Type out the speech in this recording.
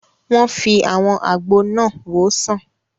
Wọ́n fi àwọn àgbo náà wòó sàn